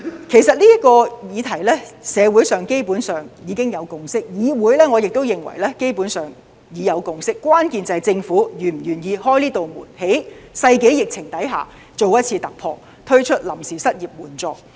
其實，就這個議題，社會基本上已有共識；至於議會，基本上，我亦認為已有共識，關鍵是政府是否願意開啟這道門，在世紀疫情下作一次突破，推出臨時失業援助。